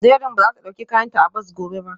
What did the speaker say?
Dẹrín ba za ta ɗauki kayanta a bas gobe ba